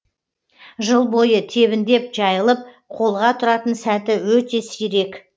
жыл бойы тебіндеп жайылып қолға тұратын сәті өте сирек